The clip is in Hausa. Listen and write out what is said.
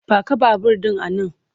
Paka babur ɗin a nan!